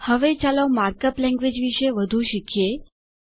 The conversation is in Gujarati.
હવે ચાલો માર્ક અપ લેન્ગવેજ વિશે વધુ શીખીએ